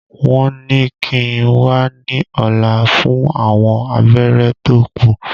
Wọ́n ní kíi n wá ní ọ̀la fún àwọn abẹ́rẹ́ tó kù